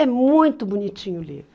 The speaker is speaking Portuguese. É muito bonitinho o livro.